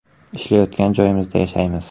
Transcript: Ishlayotgan joyimizda yashaymiz.